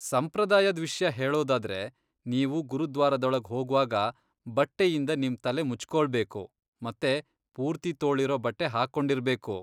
ಸಂಪ್ರದಾಯದ್ ವಿಷ್ಯ ಹೇಳೋದಾದ್ರೆ, ನೀವು ಗುರುದ್ವಾರದೊಳಗ್ ಹೋಗ್ವಾಗ ಬಟ್ಟೆಯಿಂದ ನಿಮ್ ತಲೆ ಮುಚ್ಕೊಳ್ಬೇಕು ಮತ್ತೆ ಪೂರ್ತಿ ತೋಳಿರೋ ಬಟ್ಟೆ ಹಾಕೊಂಡಿರ್ಬೇಕು.